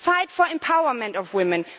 Fight for the empowerment of women